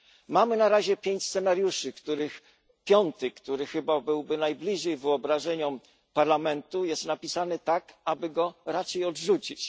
Mamy na razie pięć scenariuszy, z których piąty chyba najbliższy wyobrażeniom Parlamentu jest napisany tak, aby go raczej odrzucić.